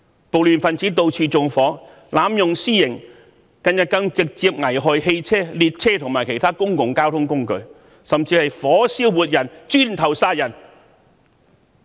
暴亂分子到處縱火，濫用私刑，近日更直接危害汽車、列車和其他公共交通工具，甚至火燒活人、以磚頭殺人。